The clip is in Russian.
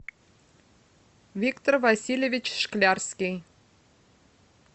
виктор васильевич шклярский